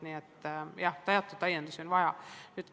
Nii et jah, teatud täiendusi on vaja.